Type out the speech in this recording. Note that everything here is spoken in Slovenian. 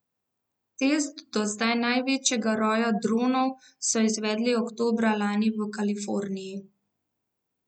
Test do zdaj največjega roja dronov so izvedli oktobra lani v Kaliforniji.